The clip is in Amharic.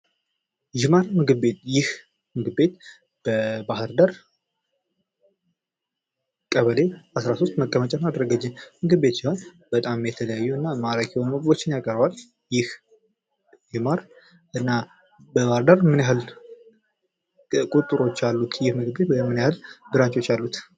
ዥማር ምግብ ቤት ይህ ምግብ ቤት በባህር ዳር ቀበሌ አስራሶስት መቀመጫውን አደረገ እንጂ ምግብ ቤት ሲሆን ምግብ ቤቱም በጣም የተለያዩ እና ማራኪ የሆኑ ምግቦችን ያቀርባል ይህ ዥማር እና በባህር ዳር ምን ያክል ቁጥሮች አሉት ወይም ምን ያክል ብራንቾች አሉት?